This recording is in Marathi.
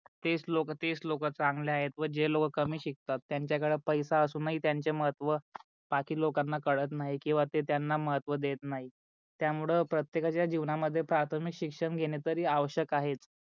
तेच लोक तेच लोक चांगले आहे व जे लोक कमी शिकतात त्यांच्या कडे पैसा असून ही त्यांचे महत्व बाकी लोकांना कडत नाही किवा ते त्यांना महत्व देत नाही त्या मूळे प्रतेकच्या जीवनात प्राथमिक शिक्षण घेणे तरी आवश्यक आहे.